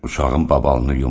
Uşağın babalını yuma.